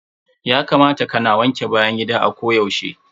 Ya kamata ka na wanke bayan gida a ko yaushe.